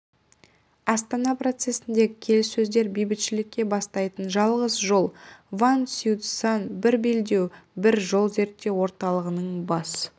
астана процесіндегі келіссөздер бейбітшілікке бастайтын жалғыз жол ван сяоцюань бір белдеу бір жол зерттеу орталығының бас